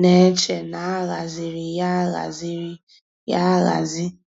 ná-èchè ná á hàzírí yá á hàzírí yá áhàzí.